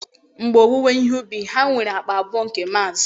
mgbe owuwe ihe ubi ha nwere akpa abụọ nke maz